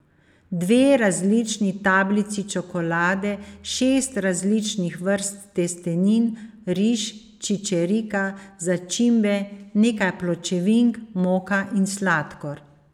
Dve različni tablici čokolade, šest različnih vrst testenin, riž, čičerika, začimbe, nekaj pločevink, moka in sladkor.